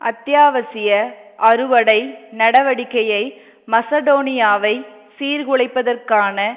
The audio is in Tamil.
அத்தியாவசிய அறுவடை நடவடிக்கையை மசடோனியாவை சீர்குலைப்பதற்கான